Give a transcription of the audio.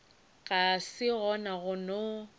ga se gona go no